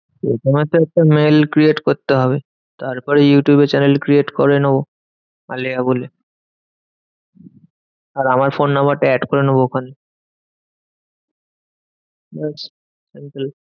প্রথমে তো একটা mail create করতে হবে। তারপরে ইউটিউবে channel create করে নেবো আলেয়া বলে। আর আমার ফোন number টা add করে নেবো ওখানে। ব্যাস